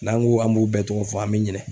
N'an ko an b'u bɛɛ tɔgɔ fɔ an mi ɲinɛ